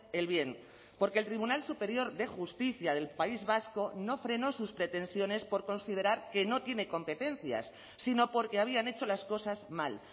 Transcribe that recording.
el bien porque el tribunal superior de justicia del país vasco no frenó sus pretensiones por considerar que no tiene competencias sino porque habían hecho las cosas mal